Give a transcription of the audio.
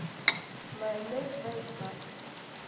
майонез байсад